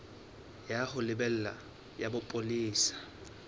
ya ho lebela ya bopolesa